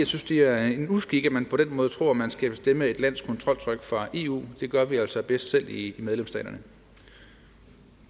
synes det er en uskik at man på den måde tror at man skal bestemme et lands kontroltryk fra eus side det gør vi altså bedst selv i medlemsstaterne